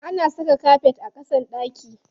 Ana saka kafet a ƙasan ɗaki.